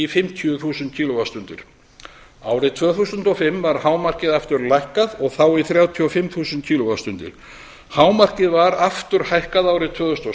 fimmtíu þúsund kíló vattstundir árið tvö þúsund og fimm var hámarkið aftur lækkað og þá í þrjátíu og fimm þúsund kíló vattstundir hámarkið var aftur hækkað árið tvö þúsund og